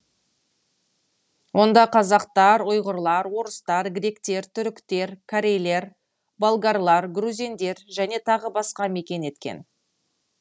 онда қазақтар ұйғырлар орыстар гректер түріктер корейлер болгарлар грузиндер және тағы басқа мекен еткен